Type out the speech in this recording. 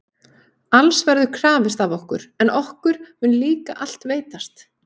Alls verður krafist af okkur, en okkur mun líka allt veitast